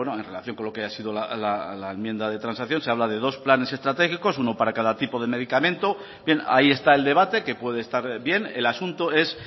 en relación con lo que ha sido la enmienda de transacción se habla de dos planes estratégicos uno para cada tipo de medicamento bien ahí está el debate que puede estar bien el asunto es